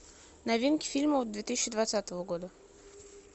новинки фильмов две тысячи двадцатого года